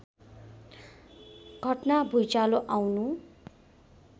घटना भुँइचालो आउनु